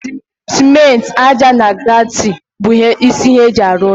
simenti, ájá na granaiti bụ isi ihe eji arụ ụlọ